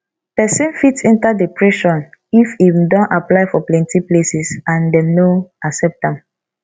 persin fit enter depression if im don apply for plenty places and dem no accept am